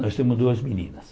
Nós temos duas meninas.